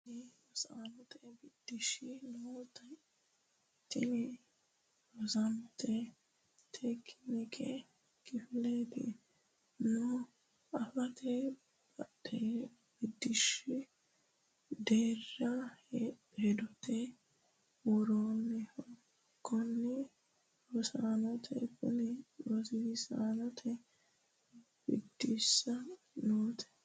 Konni rosiisaanote biddissi nooti tini rosiisate tekinikka kifilete noo afate badooshshi deerra hedote worannoho Konni rosiisaanote Konni rosiisaanote biddissi nooti.